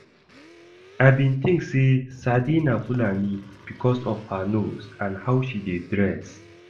I bin think say Sade na fulani because of her nose and how she dey dress